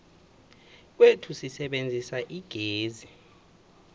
kwethu sisebenzisa igezi